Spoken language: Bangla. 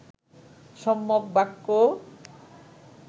সম্যক বাক্য